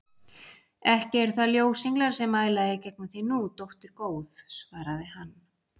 Ekki eru það ljósenglar sem mæla í gegnum þig nú, dóttir góð, svaraði hann.